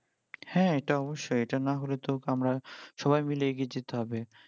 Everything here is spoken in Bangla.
হ্যাঁ এটা অবশ্যই এটা না হলে তো আমারা সবাই মিলে এগিয়ে যেতে হবে